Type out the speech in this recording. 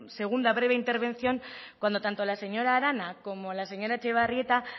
segunda breve intervención cuando tanto la señora arana como la señora etxebarrieta